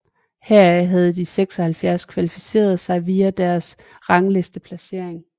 Heraf havde de 76 kvalificeret sig via deres ranglisteplacering